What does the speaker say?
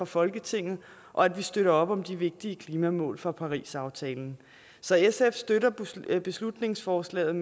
folketinget og at vi støtter op om de vigtige klimamål fra parisaftalen så sf støtter beslutningsforslaget